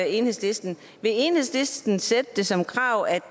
enhedslisten vil enhedslisten stille det som et krav at